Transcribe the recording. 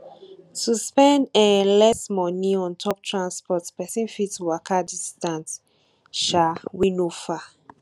to spend um less money on top transport person fit waka distance um wey no far